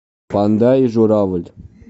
панда и журавль